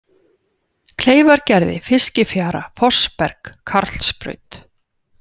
Kleifargerði, Fiskifjara, Fossberg, Karlsbraut